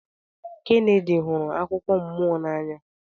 Kennedy hụrụ akụkọ mmụọ n'anya